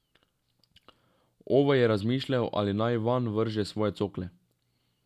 Ove je razmišljal, ali naj vanj vrže svoje cokle.